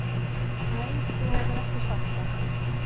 Nei þú hefur ekki sagt það.